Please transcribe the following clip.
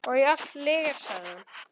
Og allt lygar, sagði hún.